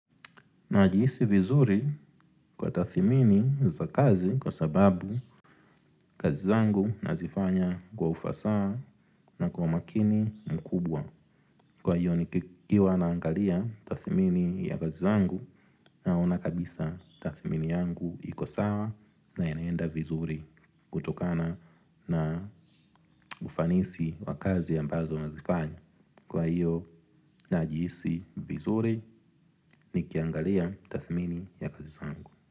Najihisi vizuri kwa tathimini za kazi, kwa sababu kazi zangu nazifanya kwa ufasaha na kwa umakini mkubwa. Kwa hio, nikiwa naangalia tathimini ya kazi zangu naona kabisa tathimini yangu iko sawa na yanaenda vizuri kutokana na ufanisi wakazi ambazo nazifanya. Kwa hio najihisi vizuri nikiangalia tathimini ya kazi zangu.